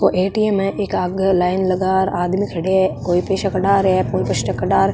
ओ ATM. है इक आगे लाइने लगा र आदमी खड़ा है --